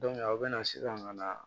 a bɛ na sisan ka na